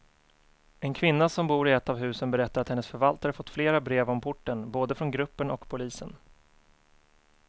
En kvinna som bor i ett av husen berättar att hennes förvaltare fått flera brev om porten, både från gruppen och polisen.